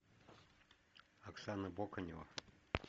оксана боканева